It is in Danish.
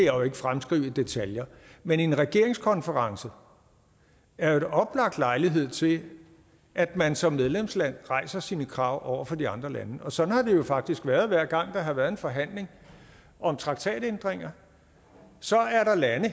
jo ikke fremskrive i detaljer men en regeringskonference er jo en oplagt lejlighed til at man som medlemsland rejser sine krav over for de andre lande og sådan har det jo faktisk været hver gang der har været en forhandling om traktatændringer så er der lande